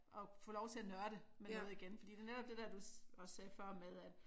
At få lov til at nørde med noget igen fordi det er netop det dér du også sagde før med at